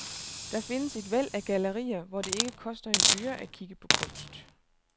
Der findes et væld af gallerier, hvor det ikke koster en øre at kigge på kunst.